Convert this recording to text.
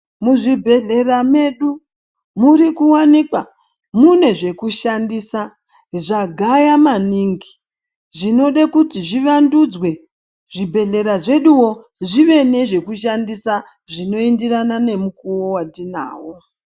Muzvibhehlera medu murikuwanikwa mune zvekushandisa zvagaya maningi zvinode kuti zviwandudzwe zvibhehlera zveduwo zvive nezvekudhandisa zvinoenderana nemukuwo watinawo.